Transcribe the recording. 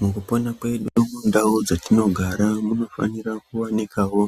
Mukupona kwedu mundau dzatinogara munofanira kuwanikawo